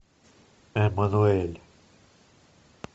эмануэль